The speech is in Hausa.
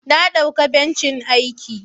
Na dauka bencin aiki.